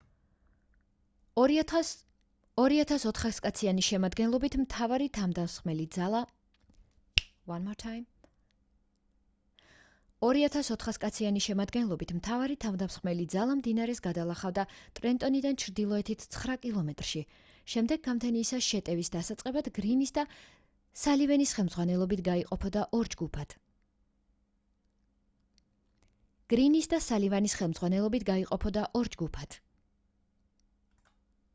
2,400 კაციანი შემადგენლობით მთავარი თავდამსხმელი ძალა მდინარეს გადალახავდა ტრენტონიდან ჩრდილოეთით ცხრა კილომეტრში შემდეგ გამთენიისას შეტევის დასაწყებად გრინის და სალივანის ხელმძღვანელობით გაიყოფოდა ორ ჯგუფად